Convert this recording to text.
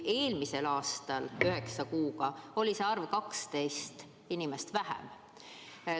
Eelmisel aastal üheksa kuuga oli see arv 12 võrra väiksem.